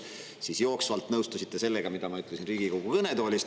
Siis jooksvalt nõustusite sellega, mida ma ütlesin Riigikogu kõnetoolist.